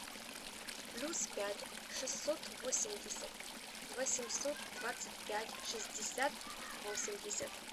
плюс пять шестьсот восемьдесят восемьсот двадцать пять шестьдесят восемьдесят